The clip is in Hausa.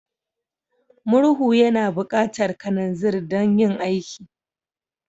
Murhu yana buƙatar kananzir don yin aiki.